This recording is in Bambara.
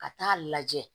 Ka taa lajɛ